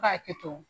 Ka hakɛ to